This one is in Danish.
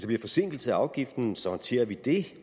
bliver forsinkelser af afgiften så håndterer vi det